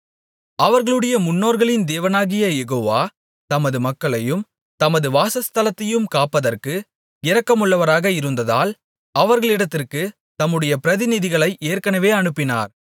அவர்களுடைய முன்னோர்களின் தேவனாகிய யெகோவா தமது மக்களையும் தமது வாசஸ்தலத்தையும் காப்பதற்கு இரக்கமுள்ளவராக இருந்ததால் அவர்களிடத்திற்குத் தம்முடைய பிரதிநிதிகளை ஏற்கனவே அனுப்பினார்